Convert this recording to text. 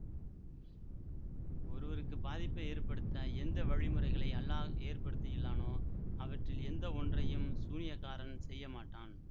ஒருவருக்கு பாதிப்பை ஏற்படுத்த எந்த வழிமுறைகளை அல்லாஹ் ஏற்படுத்தியுள்ளானோ அவற்றில் எந்த ஒன்றையும் சூனியக்காரன் செய்ய மாட்டான்